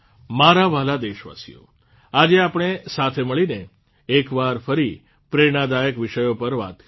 મારા વ્હાલા દેશવાસીઓ આજે આપણે સાથે મળીને એકવાર ફરી પ્રેરણાદાયક વિષયો પર વાત કરી